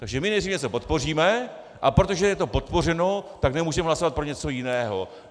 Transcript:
Takže my nejdřív něco podpoříme, a protože je to podpořeno, tak nemůžeme hlasovat pro něco jiného.